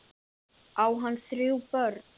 Á hann þrjú börn.